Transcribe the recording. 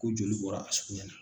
Ko joli bɔra a sugunɛ na